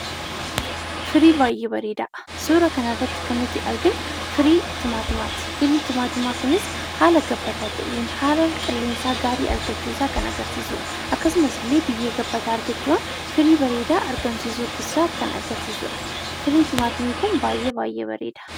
Firii baay'ee bareedaa! Suuraa kanarratti kan nuti arginu firii timaatimaati. Firiin timaatimaa kunis haala gabbataa ta'een haala qilleensaa gaarii argachuu isaa kan agarsiisudha. Akkasumas illee biyyee gabbataa argachuudhaan firii gaarii argamsiisuu isaa kan garsiisudha. Firiin timaatimii kun baay'ee baay'ee bareeda.